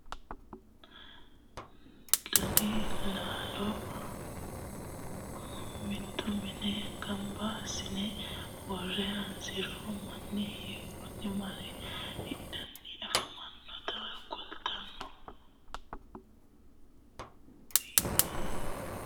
Babaxxittinno daninni biiffe aleenni hige leelittannotti tinni misile lelishshanori isi maattiya yinummoro duuchu danni laallo mitto minne ganbba asiinne woreenna hasiri manni hakkinni mare hidhanni afammannotta kulittanno.